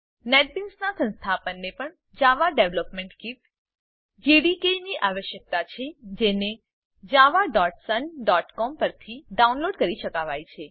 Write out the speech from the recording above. નેટબીન્સનાં સંસ્થાપનને પણ Java development kit JDK ની આવશક્યતા છે જેને javasunસીઓએમ પરથી ડાઉનલોડ કરી શકાવાય છે